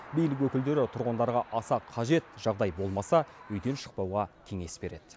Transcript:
билік өкілдері тұрғындарға аса қажет жағдай болмаса үйден шықпауға кеңес береді